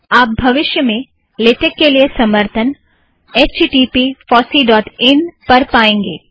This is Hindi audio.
आप भविष्य में लेटेक के लिए समर्थन httpfosseeइन H T T P FOSSEE dot in पर पाएंगे